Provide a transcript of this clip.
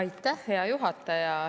Aitäh, hea juhataja!